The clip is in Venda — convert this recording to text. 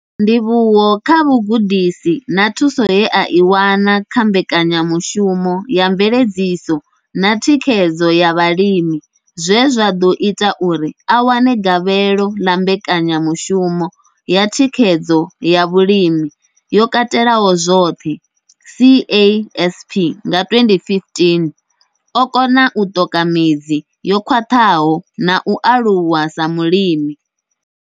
Ndivhuwo kha vhugudisi na thuso ye a i wana kha mbekanyamushumo ya mveledziso na thikhedzo ya vhalimi zwe zwa ḓo ita uri a wane gavhelo ḽa mbekanyamushumo ya thikhedzo ya zwa vhulimi yo katelaho zwoṱhe CASP nga 2015, o kona u ṱoka midzi yo khwaṱhaho na u aluwa sa mulimi.